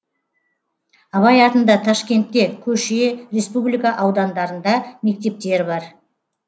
абай атында ташкентте көше республика аудандарында мектептер бар